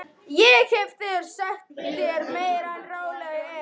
Ég hef þegar sagt þér meira en ráðlegt er.